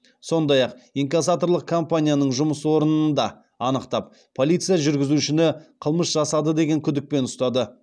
сондай ақ инкассаторлық компанияның жұмыс орнын да анықтап полиция жүргізушіні қылмыс жасады деген күдікпен ұстады